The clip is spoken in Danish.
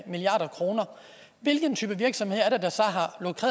milliard kroner hvilken type virksomhed er det